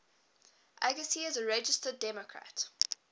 agassi is a registered democrat